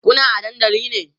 Kuna a dandali ne?